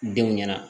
Denw ɲɛna